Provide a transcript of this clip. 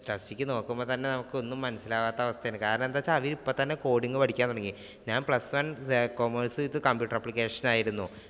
ശ്രദ്ധിച്ചു നോക്കുമ്പോൾ തന്നെ നമുക്ക് ഒന്നും മനസ്സിലാവാത്ത അവസ്ഥയാണ്. കാരണം അവർ ഇപ്പം തന്നെ coding പഠിക്കാൻ തുടങ്ങി. ഞാൻ plus one ഇത് computer application ആയിരുന്നു.